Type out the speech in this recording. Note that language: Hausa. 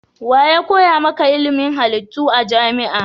Wa ya koya maka ilimin halittu a jami'a?